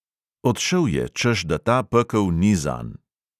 Odšel je, češ da ta pekel ni zanj.